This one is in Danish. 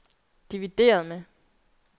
divideret med